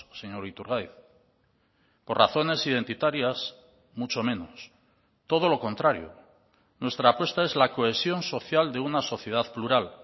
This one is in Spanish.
señor iturgaiz por razones identitarias mucho menos todo lo contrario nuestra apuesta es la cohesión social de una sociedad plural